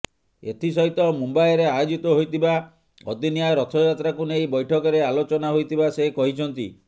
ଏଥିସହିତ ମୁମ୍ବାଇରେ ଆୟୋଜିତ ହୋଇଥିବା ଅଦିନିଆ ରଥାଯାତ୍ରାକୁ ନେଇ ବୈଠକରେ ଆଲୋଚନା ହୋଇଥିବା ସେ କହିଛନ୍ତି